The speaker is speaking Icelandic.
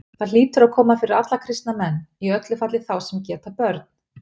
Það hlýtur að koma fyrir alla kristna menn, í öllu falli þá sem geta börn.